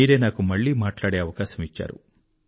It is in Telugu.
మీరే నాకు మళ్ళీ మాట్లాడే అవకాశం ఇచ్చారు